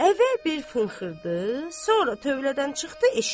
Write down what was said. Əvvəl bir fınxırdı, sonra tövlədən çıxdı eşiyə.